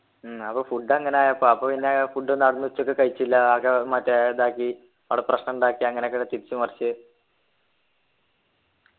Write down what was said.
ഉം അപ്പൊ food അങ്ങനായപ്പൊ അപ്പൊ പിന്നെ food ഒന്നാട്ന്ന് ഉച്ചക്ക് കഴിച്ചില്ല ആകെ മറ്റേ ഇതാക്കി ആട പ്രശ്നണ്ടാക്കി അങ്ങനെയൊക്കെ തിരിച്ചു മറിച്ച്